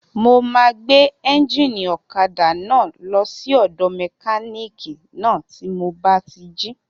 Mo máa gbé éúnjínì ọ̀kadà náà lọ sí ọ̀dọ̀ mẹkánìkì náà tí mo bá ti jí